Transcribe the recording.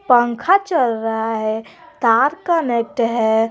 पंखा चल रहा है तार कनेक्ट है।